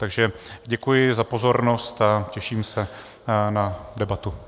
Takže děkuji za pozornost a těším se na debatu.